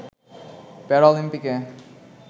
প্যারা অলিম্পিকে